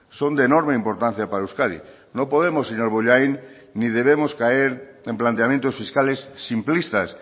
son de enorme importancia para euskadi no podemos señor bollain ni debemos caer en planteamientos fiscales simplistas